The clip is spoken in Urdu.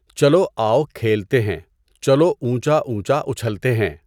چلو آؤ کھیلتے ہیں، چلو اونچا اونچا اُچھلتے ہیں!